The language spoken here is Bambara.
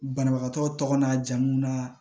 Banabagatɔ tɔgɔ n'a jamu na